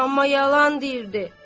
Amma yalan deyildi.